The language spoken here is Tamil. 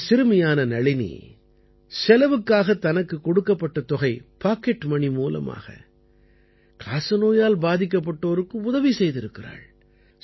இந்தச் சிறுமியான நளினி செலவுக்குத் தனக்குக் கொடுக்கப்பட்ட தொகை பாக்கெட் மணி மூலமாக காசநோயால் பாதிக்கப்பட்டோருக்கு உதவி செய்திருக்கிறாள்